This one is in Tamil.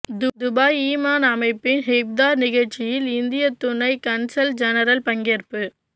துபாய் ஈமான் அமைப்பின் இஃப்தார் நிகழ்ச்சியில் இந்திய துணை கன்சல் ஜெனரல் பங்கேற்பு